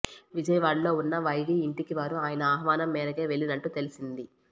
విజయవాడలో ఉన్న వైవీ ఇంటికి వారు ఆయన ఆహ్వానం మేరకే వెళ్లినట్లు తెలిసింది